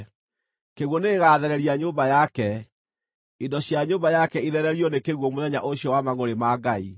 Kĩguũ nĩgĩgathereria nyũmba yake, indo cia nyũmba yake ithererio nĩ kĩguũ mũthenya ũcio wa mangʼũrĩ ma Ngai.